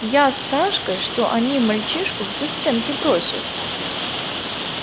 я с сашкой что они мальчишку в застенки бросят